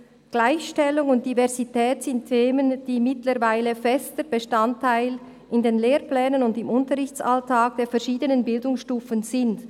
«Gleichstellung und Diversität sind Themen, die mittlerweile fester Bestandteil in den Lehrplänen und im Unterrichtsalltag der verschiedenen Bildungsstufen sind.